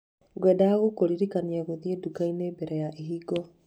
Ngwendaga kũririkana gũthiĩ nduka-inĩ mbere ya ĩhingwo.